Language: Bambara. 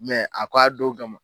a ko a don kama.